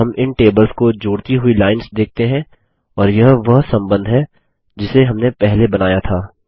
अब हम इन टेबल्स को जोडती हुई लाइंस देखते हैं और यह वह सम्बन्ध है जिसे हमने पहले बनाया था